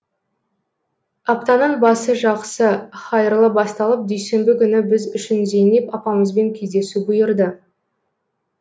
аптаның басы жақсы һайырлы басталып дүйсенбі күні біз үшін зейнеп апамызбен кездесу бұйырды